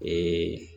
Ee